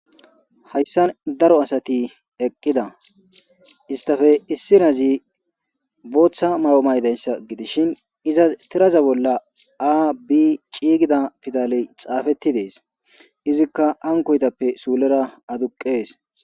Hayssan daro asati eqqida istafe issirazi booththa maw'o maydayssa gidishin iza tiraza bolla aa bi ciigida pidale xaafetti dees izikka ankoytappe suulera aduqqees.